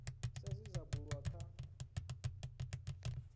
sa zwe zwa bulwa kha